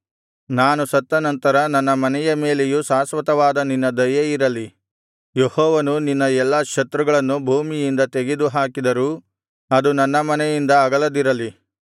ನಾನು ಸತ್ತನಂತರ ನನ್ನ ಮನೆಯ ಮೇಲೆಯೂ ಶಾಶ್ವತವಾದ ನಿನ್ನ ದಯೆಯಿರಲಿ ಯೆಹೋವನು ನಿನ್ನ ಎಲ್ಲಾ ಶತ್ರುಗಳನ್ನು ಭೂಮಿಯಿಂದ ತೆಗೆದು ಹಾಕಿದರೂ ಅದು ನನ್ನ ಮನೆಯಿಂದ ಅಗಲದಿರಲಿ